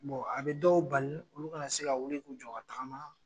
a bɛ dɔw bali olu kana na se ka wuli'u jɔ ka se ka taakama.